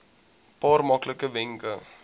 paar maklike wenke